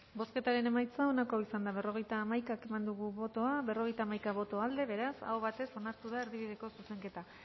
bozketaren emaitza onako izan da berrogeita hamaika eman dugu bozka berrogeita hamaika boto aldekoa beraz aho batez onartu da erdibideko zuzenketa